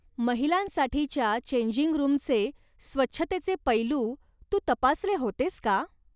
महिलांसाठीच्या changing रूमचे स्वच्छतेचे पैलू तू तपासले होतेस का?